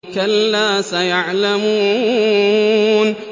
كَلَّا سَيَعْلَمُونَ